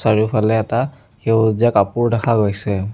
চাৰিওফালে এটা সেউজীয়া কাপোৰ দেখা গৈছে।